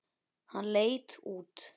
Hann leit út.